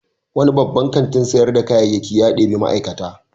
Wani babban kantin sayar da kayayyaki ya ɗebi ma'aikata.